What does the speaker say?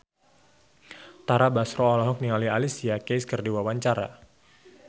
Tara Basro olohok ningali Alicia Keys keur diwawancara